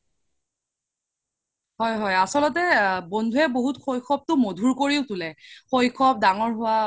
হয় হয় আচল্তে বন্ধুৱে বহুত শৈশৱটো মধুৰ কৰি তুলে শৈশৱ দাঙৰ হুৱা